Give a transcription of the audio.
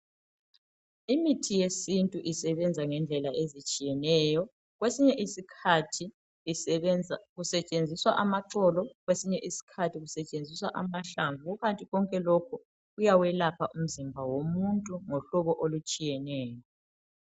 Imithi yesintu isebenza ngendlela ezitshiyeneyo .Kwesinye isikhathi kusetshenziswa amaxolo Kwesinye isikhathi kusetshenziswa amahlamvu Kukanti konke lokho kuyawelapha umzimba womuntu ngohlobo olutshiyeneyo